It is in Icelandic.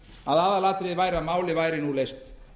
að aðalatriðið væri að málið væri nú leyst